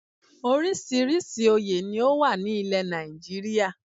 Orísìírísìí oyè ni ó wà ní ilẹ̀ Nàìjíríà